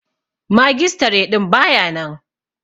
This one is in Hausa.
Magistare din ba ya nan.